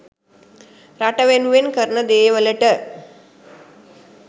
රට වෙනුවෙන් කරන දේවලට